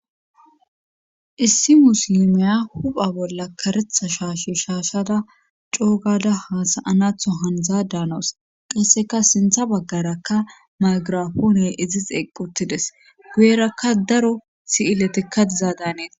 issi muslimiya hupha bolla karetha shaashi shaashada coogada haasayanatho handzaa daanoos qasseka sintha baggarakka magirapoone izi xeqquttides guyerakka daro si7iletekka dizaa daaneta